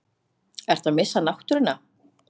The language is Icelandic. Ertu að missa náttúruna?